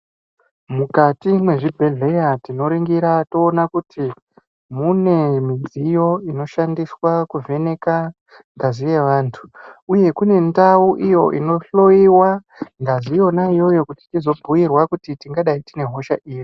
Mukati mwezvibhedhlera tinoringira toona kuti mune midziyo inoshandiswa kuvheneka ngazi yevantu uye kune ndau iyo inohloyiwa ngazi yona iyoyo kuti tizobhuyirwa kuti tingadayi tine hosha iri.